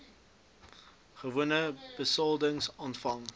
gewone besoldiging ontvang